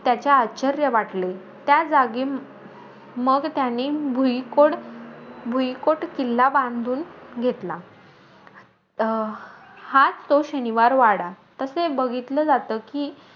त्याचा आश्चर्य वाटले. त्या जागी मग त्याने भुईकोड भुईकोट किल्ला बांधून घेतला. अं हाचं तो शनिवार वाडा. तसे बघितलं जातं की,